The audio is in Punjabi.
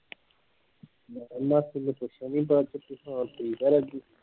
ਉਹਨਾਂ ਨੇ ਸਗੋਂ ਪੁੱਛਿਆ ਨਹੀਂ ਹੁਣ ਠੀਕ ਆ ਰਾਜੀ